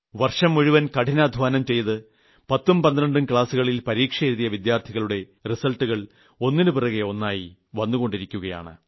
വർഷം മുഴുവൻ കഠിനാദ്ധ്വാനം ചെയ്ത് 10ഉം 12ഉം ക്ലാസ്സുകളിൽ പരീക്ഷയെഴുതിയ വിദ്യാർത്ഥികളുടെ റിസൾട്ടുകൾ ഒന്നിന് പുറകെ ഒന്നായി വന്നുകൊണ്ടിരിക്കുകയാണ്